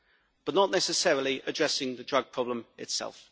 but not necessarily addressing the drug problem itself.